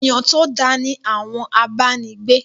Èyán to dá ni àwọn abánigbé.